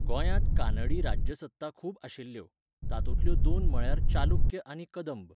गोंयांत कानडी राज्यसत्ता खूब आशिल्ल्यो, तातुंतल्यो दोन म्हळ्यार चालुक्य आनी कदंब